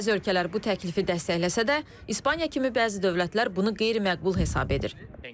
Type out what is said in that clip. Bəzi ölkələr bu təklifi dəstəkləsə də, İspaniya kimi bəzi dövlətlər bunu qeyri-məqbul hesab edir.